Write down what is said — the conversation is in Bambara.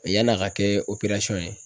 Yann'a ka kɛ ye.